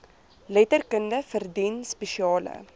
letterkunde verdien spesiale